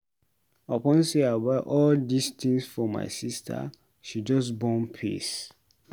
Upon sey I buy all dis tins for my sista she just bone face.